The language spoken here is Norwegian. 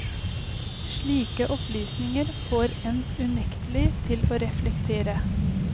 Slike opplysninger får en unektelig til å reflektere.